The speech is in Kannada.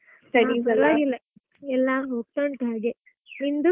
ಎಲ್ಲಾ ಹೋಗ್ತುಂಟು ಹಾಗೆ ನಿಂದು?